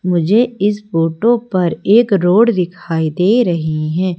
मुझे इस फोटो पर एक रोड दिखाई दे रही है।